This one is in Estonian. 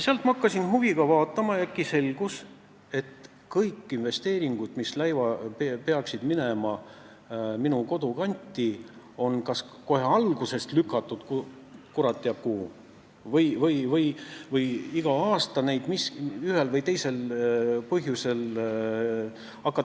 Ma hakkasin seda huviga vaatama ja selgus, et kõik investeeringud, mis pidid minema minu kodukanti, lükati kas kohe alguses kurat teab kuhu või siis hakati neid iga aasta ühel või teisel põhjusel piirama.